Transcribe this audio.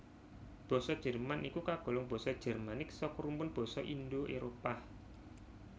Basa Jerman iku kagolong basa Jermanik saka rumpun basa Indo Éropah